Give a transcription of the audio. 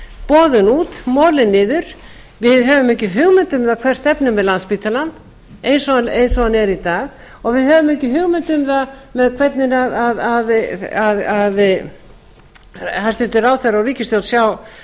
boðin út málið niður á höfum ekki hugmynd um hvert stefnir með landspítalann eins og hann er í dag við höfum ekki hugmynd um það hvernig að hæstvirtur ráðherra